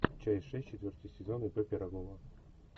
часть шесть четвертый сезон ип пирогова